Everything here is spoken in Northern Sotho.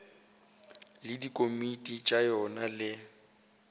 le dikomiti tša yona le